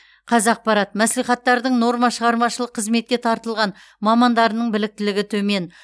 қазақпарат мәслихаттардың нормашығармашылық қызметке тартылған мамандарының біліктілігі төмен